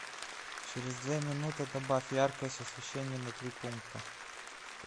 через две минуты добавь яркость освещения на три пункта